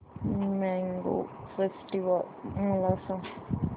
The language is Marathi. मॅंगो फेस्टिवल मला सांग